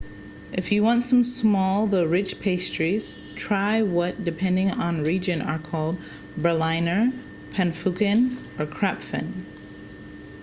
if you want some small though rich pastries try what depending on region are called berliner pfannkuchen or krapfen